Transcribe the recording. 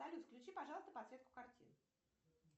салют включи пожалуйста подсветку катин